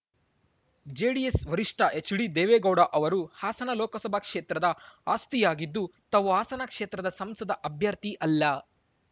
JDS ವರಿಷ್ಠ H D Devegowda ಅವರು ಹಾಸನ ಲೋಕಸಭಾ ಕ್ಷೇತ್ರದ ಆಸ್ತಿಯಾಗಿದ್ದು ತಾವು ಹಾಸನ ಕ್ಷೇತ್ರದ ಸಂಸದ ಅಭ್ಯರ್ಥಿ ಅಲ್ಲ